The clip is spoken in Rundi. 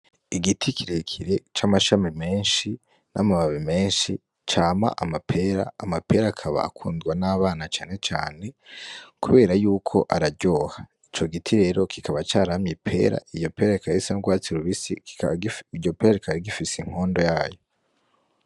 Igiti kirekire c'amashami menshi n'amababi menshi cama amapera, amapera akaba akundwa n'abana canecane kubera yuko araryoha, ico giti rero kikaba caramye ipera, iryo pera rikaba risa n'ugwatsi rubisi, iryo pera rikaba rigifise inkondo yayo.